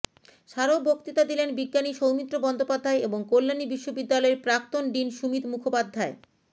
স্মারক বক্তৃতা দিলেন বিজ্ঞানী সৌমিত্র বন্দ্যোপাধ্যায় এবং কল্যাণী বিশ্ববিদ্যালয়ের প্রাক্তন ডিন সুমিত মুখোপাধ্যায়